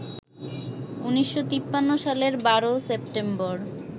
১৯৫৩ সালের ১২ সেপ্টেম্বর